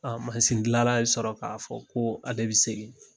A mansindilanra sɔrɔ k'a fɔ ko ale bɛ segin